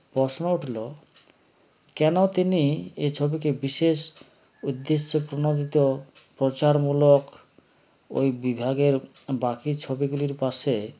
প্রশ্ন উঠলো কেন তিনি এ ছবিকে বিশেষ উদ্দেশ্যেপ্রনদিত প্রচারমূলক ঐ বিভাগের বাকি ছবিগুলির পাশে